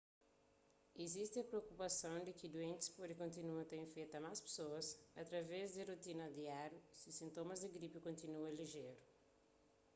izisti propukupason di ki duentis pode kontinua ta infeta más pesoas através di ses rotinas diáriu si sintomas di gripi kontinua lijeru